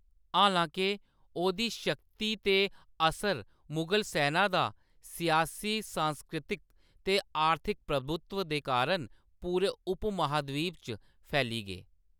हालांके, ओह्‌‌‌दी शक्ति ते असर मुगल सैना दा, सियासी, सांस्कृतिक ते आर्थिक प्रभुत्व दे कारण पूरे उपमहाद्वीप च फैली गे।